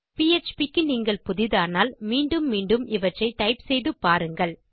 PHP க்கு நீங்கள் புதிதானால் மீண்டும் மீண்டும் இவற்றை டைப் செய்து பாருங்கள்